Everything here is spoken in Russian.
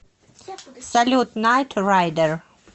салют найт райдер